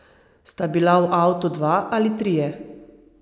Sta bila v avtu dva ali trije?